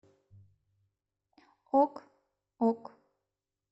ок ок